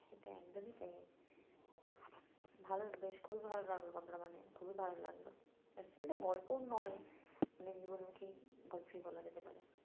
সেটা একদমই তাই ভালো বেশ খুবই ভালো লাগলো খুবই ভালো লাগলো actually এটা গল্পও নই মানে জীবনমুখী গল্পই বলা যেতে পারে